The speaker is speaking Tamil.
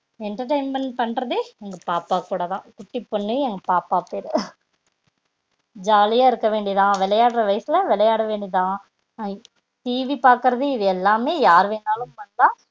entertainment பண்றதே எங்க பாப்பா கூடதா குட்டி பொண்ணு எங்க பாப்பா பேரு ஜாலி யா இருக்க வேண்டிதா விளையாட்ற வயசுல விளையாட வேண்டிதா TV பாக்றது இது எல்லாம் யார் வேணாலும் பண்ணலாம்